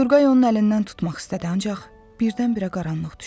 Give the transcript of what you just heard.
Turqay onun əlindən tutmaq istədi, ancaq birdən-birə qaranlıq düşdü.